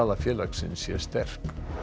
félagsins sé sterk